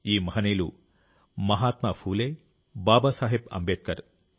ఈ మహనీయులు మహాత్మా ఫూలే బాబాసాహెబ్ అంబేద్కర్